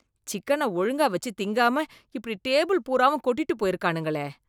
சிக்கனை ஒழுங்கா வெச்சு திங்காம இப்படி டேபிள் பூராவும் கொட்டிட்டு போயிருக்கானுங்களே.